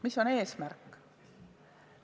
Mis on eesmärk?